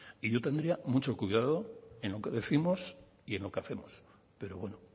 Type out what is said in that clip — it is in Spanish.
y yo tendría mucho cuidado en lo que décimos y en lo que hacemos pero bueno